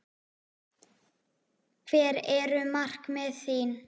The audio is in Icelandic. Hver eru markmið þín?